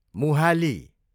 Mohali